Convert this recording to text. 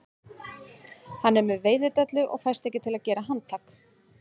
Hann er með veiðidellu og fæst ekki til að gera handtak